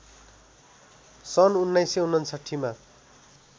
सन् १९५९ मा